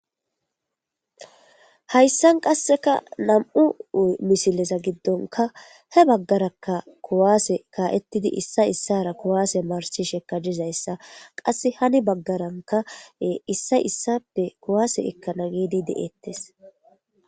hayssan qasseka nam7u misileza giddonka he baggaraka kuwaase kaa7ettidi issa issara kuwaase marshisheka dizayssa qasse hani baggaranka issa issape kuwaase ekkana gidi de7ettes